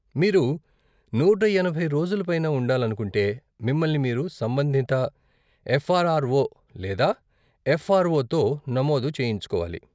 మీరు నూట ఎనభై రోజుల పైన ఉండాలనుకుంటే, మిమ్మల్ని మీరు సంబంధిత ఎఫ్ఆర్ఆర్ఓ లేదా ఎఫ్ఆర్ఓ తో నమోదు చేయించుకోవాలి.